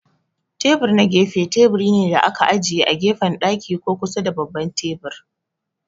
Tebur na gefe teburi ne da aka ajiye a gefen daki ko kusa da babban tebur.